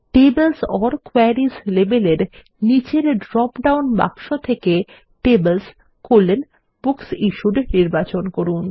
tables or queries লেবেলের নিচের drop down বাক্স থেকে TablesBooksIssued নির্বাচন করুন